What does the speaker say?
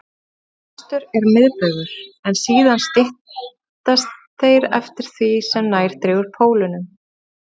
Lengstur er miðbaugur, en síðan styttast þeir eftir því sem nær dregur pólunum.